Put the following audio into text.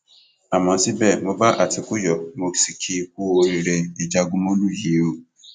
àmọ síbẹ mo bá àtìkù yọ mo sì kì í kúú oríire ìjagunmólú yìí o